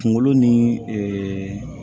Kungolo ni ɛɛ